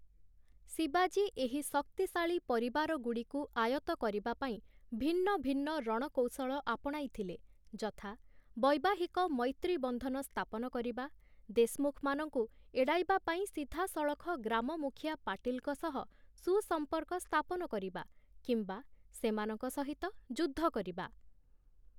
ଶିବାଜୀ ଏହି ଶକ୍ତିଶାଳୀ ପରିବାରଗୁଡ଼ିକୁ ଆୟତ୍ତ କରିବା ପାଇଁ ଭିନ୍ନ ଭିନ୍ନ ରଣକୌଶଳ ଆପଣାଇ ଥିଲେ ଯଥା: ବୈବାହିକ ମୈତ୍ରୀବନ୍ଧନ ସ୍ଥାପନ କରିବା, ଦେଶମୁଖମାନଙ୍କୁ ଏଡ଼ାଇବା ପାଇଁ ସିଧାସଳଖ ଗ୍ରାମମୁଖିଆ ପାଟିଲ୍‌ଙ୍କ ସହ ସୁସମ୍ପର୍କ ସ୍ଥାପନକରିବା, କିମ୍ବା ସେମାନଙ୍କ ସହିତ ଯୁଦ୍ଧ କରିବା ।